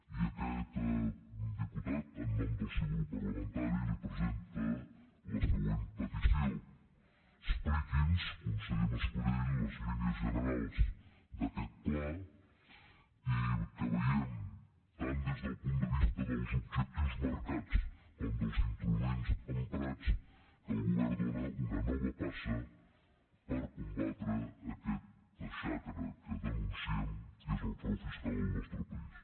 i aquest diputat en nom del seu grup parlamentari li presenta la següent petició expliqui’ns conseller mas colell les línies generals d’aquest pla i que vegem tant des del punt de vista dels objectius marcats com dels instruments emprats que el govern dóna una nova passa per combatre aquesta xacra que denunciem que és el frau fiscal al nostre país